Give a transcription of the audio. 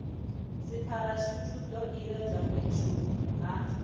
dzipharashuthi zwo iledzwa fhethu ha